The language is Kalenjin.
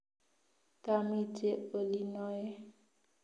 Tamite olinoe